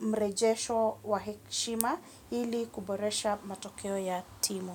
mrejesho wa heshima hili kuboresha matokeo ya timu.